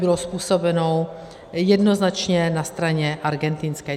Bylo způsobeno jednoznačně na straně argentinské.